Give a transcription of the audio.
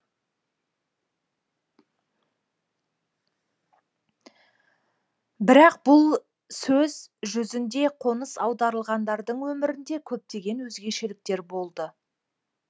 бірақ бұл сөз жүзінде қоныс аударылғандардың өмірінде көптеген өзгешеліктер болды